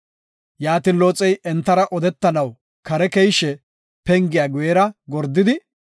Yaatin Looxey entara odetanaw kare keyishe pengiya guyera gordidi,